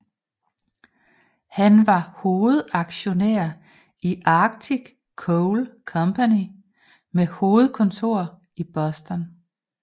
Han var hovedaktionær i Arctic Coal Company med hovedkontor i Boston